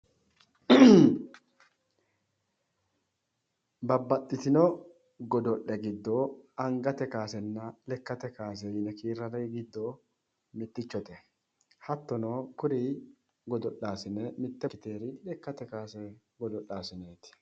Babbaxxitino godo'le giddo angate kaasenna lekkate kaase yine kiirranniri giddo mittichote hattono kuri godo'laasine mitte ikkiteyoori lekkate kaase godo'lanooti